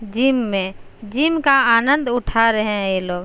Gym में gym का आनंद उठा रहे हैं ये लोग।